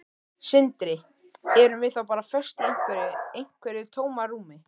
Sindri: Erum við þá bara föst í einhverju, einhverju tómarúmi?